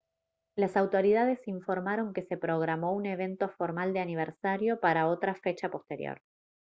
las autoridades informaron que se programó un evento formal de aniversario para otra fecha posterior